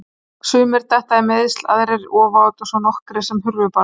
Sumir detta í meiðsli, aðrir ofát og svo nokkrir sem hurfu bara.